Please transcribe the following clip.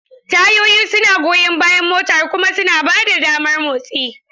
Tayoyi suna goyan bayan motar kuma suna ba da damar motsi.